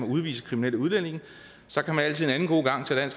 udvise kriminelle udlændinge så kan man altid en anden god gang tage